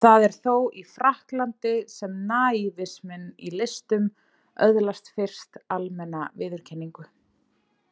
Það er þó í Frakklandi sem naívisminn í listum öðlast fyrst almenna viðurkenningu.